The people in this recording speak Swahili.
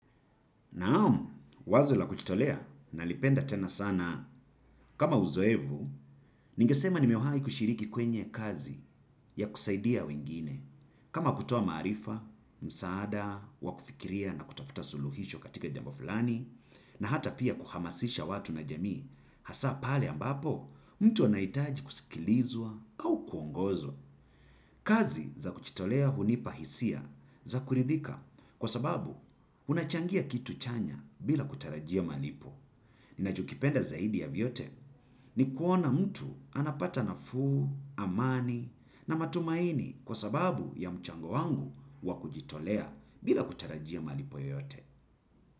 Naam, wazo la kujitolea, nalipenda tena sana. Kama uzoevu, ningesema nimewahi kushiriki kwenye kazi ya kusaidia wengine. Kama kutoa maarifa, msaada, wa kufikiria na kutafuta suluhisho katika jambo fulani, na hata pia kuhamasisha watu na jamii, hasa pale ambapo, mtu anahitaji kusikilizwa au kuongozwa. Kazi za kujitolea hunipa hisia za kuridhika kwa sababu unachangia kitu chanya bila kutarajia malipo. Ninachokipenda zaidi ya vyote ni kuona mtu anapata nafuu, amani na matumaini kwa sababu ya mchango wangu wakujitolea bila kutarajia malipo yoyote.